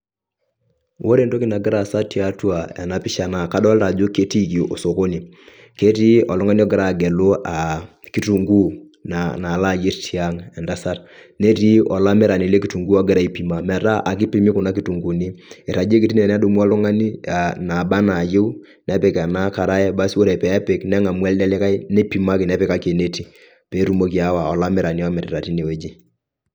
Ore entoki nagira aasa tiatua ena pisha naa kadolita ajo, ketiiki osokoni, ketii oltung'ani ogira agelu aa, kitunguu nalaa nalayerr tiang' entasat netii olamirani lekitunguu ogira aipima metaa ekipimi kuna kitunguuni, irragieki teine kedumu oltung'ani aa nabaa naayeu nepik ena karai basi ore peepik neng'amu elde likae nipimaki nepikaki eneti peetumoki aawa olamirani omirita teine weji.